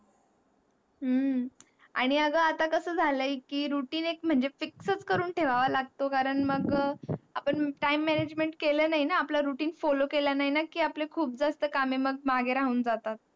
हम्म आणि आग आता कस झालय कि routine एक म्हनजे fix च करून ठेवाव लागतो, तो कारण मग आपण time management केलं नाही ना? आपलं routine follow केलं नाही ना? की आपले खूप जास्त कामे मागे राहून जातात.